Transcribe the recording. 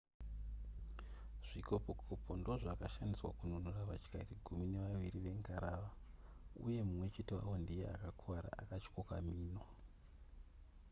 zvikopokopo ndozvakashandiswa kununura vatyairi gumi nevaviri vengarava uye mumwe chete wavo ndiye akakuvara akatyoka mhino